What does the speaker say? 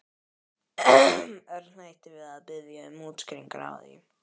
Örn hætti við að biðja um útskýringar á því.